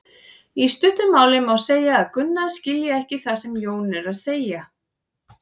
Í stuttu máli má segja að Gunna skilji ekki það sem Jón er að segja.